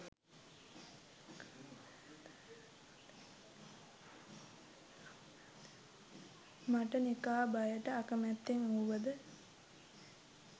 මට නිකාබයට අකැමැත්තෙන් වුවද